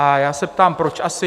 A já se ptám, proč asi?